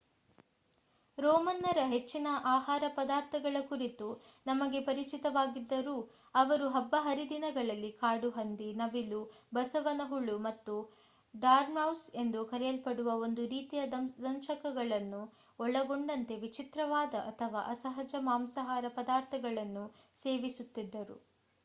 ರೋಮನ್ನರ ಹೆಚ್ಚಿನ ಆಹಾರ ಪದಾರ್ಥಗಳ ಕುರಿತು ನಮಗೆ ಪರಿಚಿತವಾಗಿದ್ದರೂ ಅವರು ಹಬ್ಬ ಹರಿದಿನಗಳಲ್ಲಿ ಕಾಡುಹಂದಿ ನವಿಲು ಬಸವನ ಹುಳು ಮತ್ತು ಡಾರ್ಮೌಸ್ ಎಂದು ಕರೆಯಲ್ಪಡುವ ಒಂದು ರೀತಿಯ ದಂಶಕಗಳನ್ನು ಒಳಗೊಂಡಂತೆ ವಿಚಿತ್ರವಾದ ಅಥವಾ ಅಸಹಜ ಮಾಂಸಾಹಾರ ಪದಾರ್ಥಗಳನ್ನು ಸೇವಿಸುತ್ತಿದ್ದರು